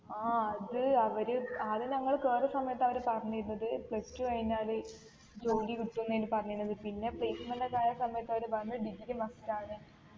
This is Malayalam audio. ആഹ് അത് അവര് ആദ്യം ഞങ്ങള് കേറിയ സമയത്ത് അവര് പറഞ്ഞിരുന്നത് plus two കഴിഞ്ഞാല് ജോലികിട്ടുംന്നേയ്ഞ്ഞു പറഞ്ഞിനത് പിന്നെ placement ഒക്കെ ആയ സമയത്ത് അവര് പറഞ്ഞ് degree must ആണ്